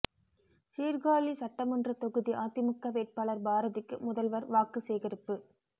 சீர்காழி சட்டமன்ற தொகுதி அதிமுக வேட்பாளர் பாரதிக்கு முதல்வர் வாக்கு சேகரிப்பு